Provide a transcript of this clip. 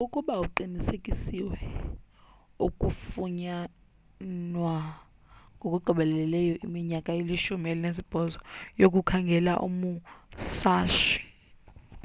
ukuba kuqinisekisiwe ukufunyanwa ngokugqibeleyo iminyaka elishumi elinesibhozo yokukhangela umusashi